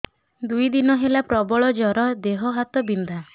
ଦୁଇ ଦିନ ହେଲା ପ୍ରବଳ ଜର ଦେହ ହାତ ବିନ୍ଧା